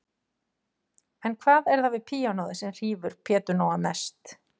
En hvað er það við píanóið sem hrífur Pétur Nóa mest?